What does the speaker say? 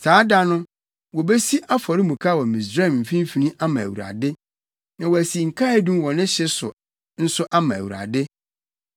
Saa da no, wobesi afɔremuka wɔ Misraim mfimfini ama Awurade, na wɔasi nkaedum wɔ ne hye so nso ama Awurade.